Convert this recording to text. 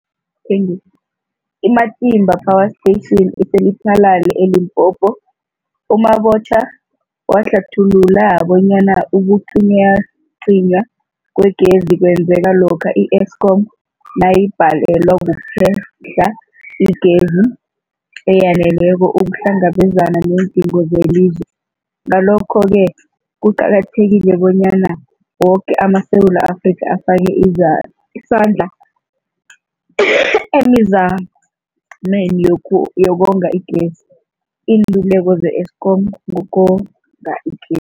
I-Matimba Power Station ise-Lephalale, eLimpopo. U-Mabotja wahlathulula bonyana ukucinywacinywa kwegezi kwenzeka lokha i-Eskom nayibhalelwa kuphe-hla igezi eyaneleko ukuhlangabezana neendingo zelizwe. Ngalokho-ke kuqakathekile bonyana woke amaSewula Afrika afake isandla emizameni yokonga igezi. Iinluleko ze-Eskom ngokonga igezi.